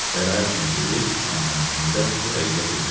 Bəraət üçün dedi, amma əslində bu həqiqət idi.